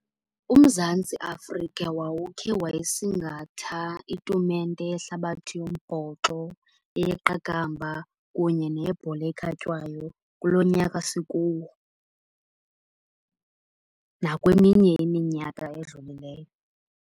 UMzantsi Afrika wawukhe wayisingatha itumente yehlabathi yombhoxo, eyeqakamba kunye neyebhola ekhatywayo, kulo nyaka sikuwo nakweminye iminyaka edlulileyo.